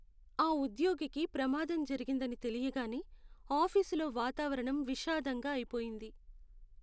ఆ ఉద్యోగికి ప్రమాదం జరిగిందని తెలియగానే ఆఫీసులో వాతావరణం విషాదంగా అయిపొయింది.